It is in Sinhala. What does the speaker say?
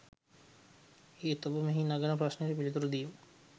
එහෙත් ඔබ මෙහි නගන ප්‍රශ්නයට පිළිතුර දීම